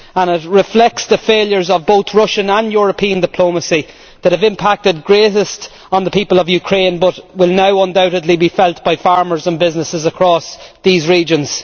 It reflects the failures of both Russian and European diplomacy that have impacted most on the people of Ukraine but will now undoubtedly be felt by farmers and businesses across the regions.